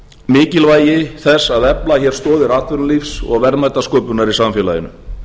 mikilvægi þess að efla hér stoðir atvinnulífs og verðmætasköpunar i samfélaginu